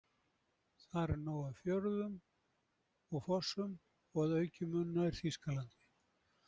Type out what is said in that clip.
Þar er nóg af fjörðum og fossum, og að auki mun nær Þýskalandi